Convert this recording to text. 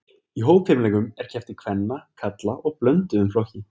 Í hópfimleikum er keppt í kvenna, karla og blönduðum flokki.